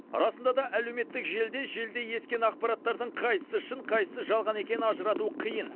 расында да әлеуметтік желіде желдей ескен ақпараттардың қайсысы шын қайсысы жалған екенін ажырату қиын